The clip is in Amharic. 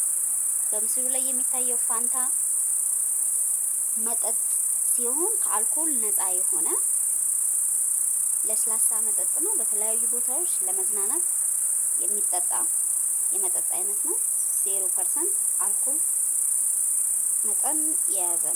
በምስሉ ላይ የሚታዬው ፋንታ መጥጥ ሲሆን ከአልኮል ነፃ የሆነ ለስላሳ መጠጥ ነው። በተለያዩ ቦታዎች ለመዝናናት የሚጠጣ የመጠጥ አይነት ነው። ዜሮ ፐርሰንት አልኮል መጠን የያዘ ነው።